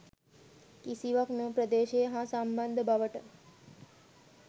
කිසිවක් මෙම ප්‍රදේශය හා සම්බන්ධ බවට